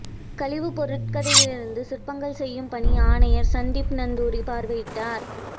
கழிவுப் பொருட்களிலிருந்து சிற்பங்கள் செய்யும் பணி ஆணையாளர் சந்தீப் நந்தூரி பார்வையிட்டார்